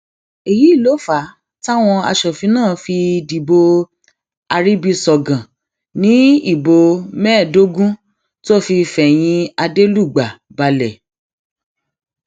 èyí ló fà á táwọn aṣòfin náà fi dìbò arìbìṣọgàn ní ìbò mẹẹẹdógún tó fi fẹyìn adelugba balẹ